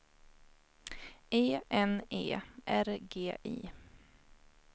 E N E R G I